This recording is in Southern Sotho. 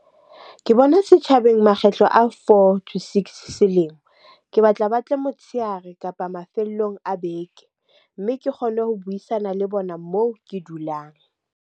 Ke bona setjhabeng makgetlo a four, to six selemo. Ke batla ba tle motshehare kapa mafelong a beke, mme ke kgone ho buisana le bona moo ke dulang.